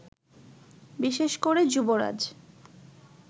বিশেষ করে যুবরাজ